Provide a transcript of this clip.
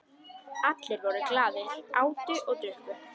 Allir voru glaðir, átu og drukku.